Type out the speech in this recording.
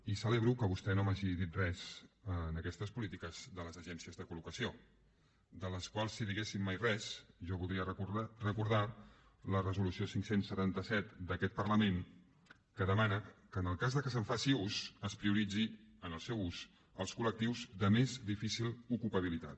i celebro que vostè no m’hagi dit res en aquestes polítiques de les agències de col·locació de les quals si diguéssim mai res jo voldria recordar la resolució cinc cents i setanta set d’aquest parlament que demana que en el cas que se’n faci ús es prioritzi en el seu ús els collectius de més difícil ocupabilitat